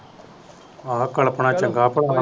ਆਹ ਕਲਪਣਾ ਚੰਗਾ